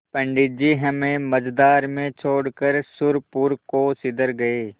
पंडित जी हमें मँझधार में छोड़कर सुरपुर को सिधर गये